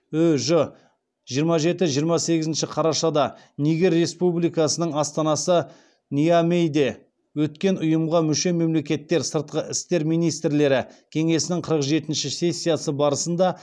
ү ж жиырма жеті жиырма сегізінші қарашада нигер республикасының астанасы ниамейде өткен ұйымға мүше мемлекеттер сыртқы істер министрлері кеңесінің қырық жетіншіші сессиясы барысында